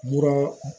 Mura